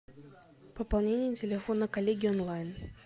пополнение телефона коллеги онлайн